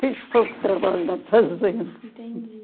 Fiz pouco trabalho na fazenda. Entendi.